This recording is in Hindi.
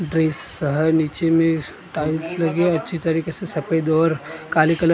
नीचे मैं टाइल्स लगी हैं अच्छी तरीके से सफ़ेद और काली कलर ।